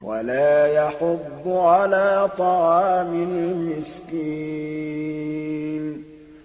وَلَا يَحُضُّ عَلَىٰ طَعَامِ الْمِسْكِينِ